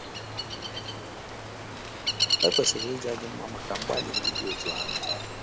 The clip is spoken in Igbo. E kwesịrị ịja gị mma maka mgbalị ndị dị otú ahụ.